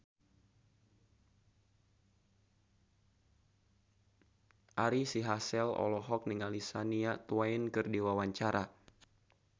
Ari Sihasale olohok ningali Shania Twain keur diwawancara